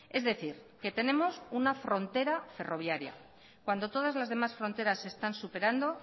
es decir que tenemos una frontera ferroviaria cuando todas las demás fronteras se están superando